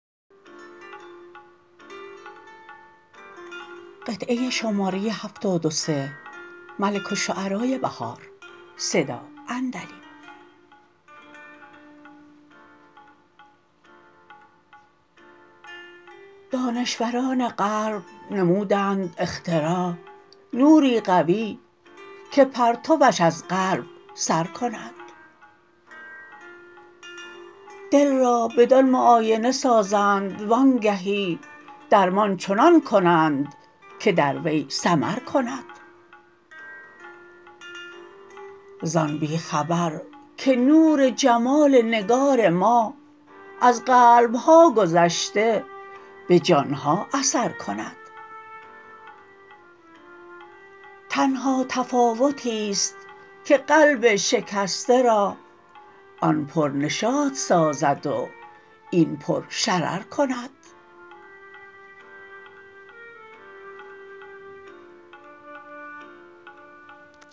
دانشوران غرب نمودند اختراع نوری قوی که پرتواش از قلب سر کند دل را بدان معاینه سازند وانگهی درمان چنان کنند که در وی ثمر کند زان بی خبر که نور جمال نگار ما از قلب ها گذشته به جان ها اثر کند تنها تفاوتی است که قلب شکسته را آن پر نشاط سازد و این پر شرر کند